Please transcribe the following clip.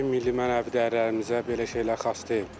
Bizim milli mənəvi dəyərlərimizə belə şeylər xas deyil.